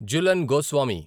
Jhulan Goswami